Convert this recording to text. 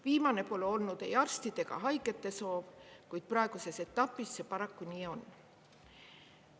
Viimane pole olnud ei arstide ega haigete soov, kuid praeguses etapis see paraku nii on.